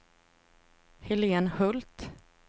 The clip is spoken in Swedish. Helen Hult